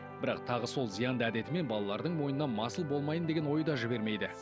бірақ тағы сол зиянды әдетімен балалардың мойнына масыл болмайын деген ой да жібермейді